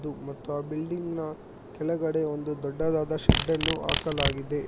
ಇದು ಮತ್ತು ಆ ಬಿಲ್ಡಿಂಗ್ ನ ಕೆಳಗಡೆ ಒಂದು ದೊಡ್ಡದಾದ ಶೆಡ್ ಅನ್ನು ಹಾಕಲಾಗಿದೆ.